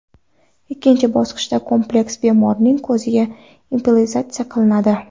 Ikkinchi bosqichda kompleks bemorning ko‘ziga implantatsiya qilinadi.